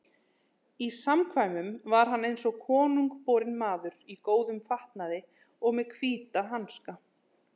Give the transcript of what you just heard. Í samkvæmum var hann eins og konungborinn maður, í góðum fatnaði og með hvíta hanska.